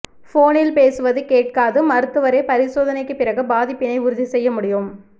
போனில் பேசுவது கேட்காது மருத்துவரே பரிசோதனைக்கு பிறகு பாதிப்பினை உறுதி செய்ய முடியும்